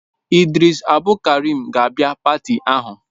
Idris Abdulkarim ga-abịa pati ahụ